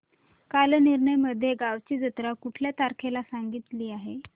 कालनिर्णय मध्ये गावाची जत्रा कुठल्या तारखेला सांगितली आहे